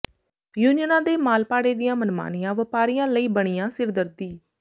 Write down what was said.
ਯੂਨੀਅਨਾਂ ਦੇ ਮਾਲ ਭਾੜੇ ਦੀਆਂ ਮਨਮਾਨੀਆਂ ਵਪਾਰੀਆਂ ਲਈ ਬਣੀਆਂ ਸਿਰਦਰਦੀ